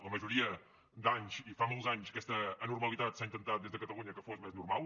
la majoria d’anys i fa molts anys aquesta anormalitat s’ha intentat des de catalunya que fos més normal